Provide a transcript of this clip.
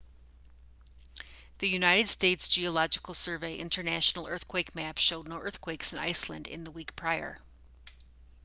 the united states geological survey international earthquake map showed no earthquakes in iceland in the week prior